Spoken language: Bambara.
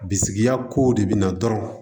Bisigiya kow de bɛ na dɔrɔn